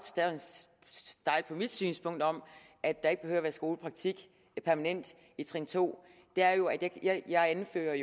stejlt på mit synspunkt om at der ikke at være skolepraktik i trin to er jo at jeg jeg anfører